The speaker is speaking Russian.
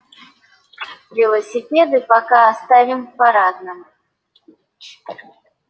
велосипеды пока оставим в парадном